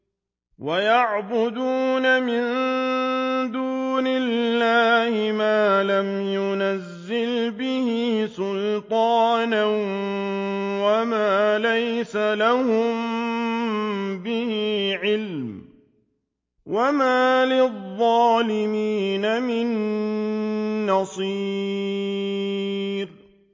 وَيَعْبُدُونَ مِن دُونِ اللَّهِ مَا لَمْ يُنَزِّلْ بِهِ سُلْطَانًا وَمَا لَيْسَ لَهُم بِهِ عِلْمٌ ۗ وَمَا لِلظَّالِمِينَ مِن نَّصِيرٍ